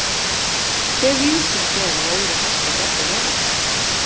Hve víðsýnt er af öðru hæsta fjalli veraldar?